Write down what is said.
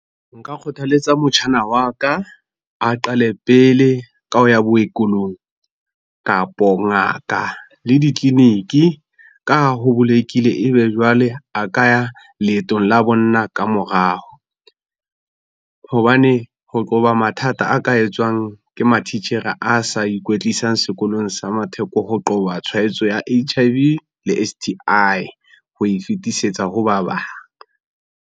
Nka kgothaletsa motjhana wa ka a qale pele ka ho ya bookelong kapo ngaka le ditleliniki ka ho ebe jwale a ka ya leetong la bonna ka morao. Hobane ho qoba mathata a ka etswang ke matitjhere a sa ikwetlisang sekolong sa ho qoba tshwaetso ya H_I_V le S_T_I ho e fetisetsa ho ba bang.